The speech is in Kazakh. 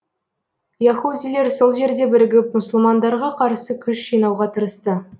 яһудилер сол жерде бірігіп мұсылмандарға қарсы күш жинауға тырысты